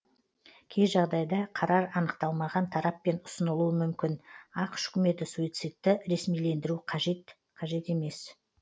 кей жағдайда қарар анықталмаған тараппен ұсынылуы мүмкін ақш үкіметі суицидті ресмилендіру қажет қажет емес